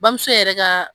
Bamuso yɛrɛ ka